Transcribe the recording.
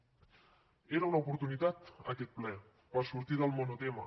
era una oportunitat aquest ple per sortir del monotema